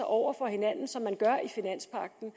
over for hinanden som man gør i finanspagten